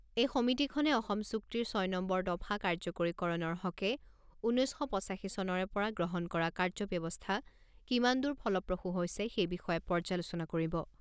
এই সমিতিখনে অসম চুক্তিৰ ছয় নম্বৰ দফা কাৰ্যকৰীকৰণৰ হকে ঊনৈছ শ পঁচাশী চনৰে পৰা গ্ৰহণ কৰা কাৰ্যব্যৱস্থা কিমান দূৰ ফলপ্ৰসূ হৈছে সেই বিষয়ে পৰ্যালোচনা কৰিব।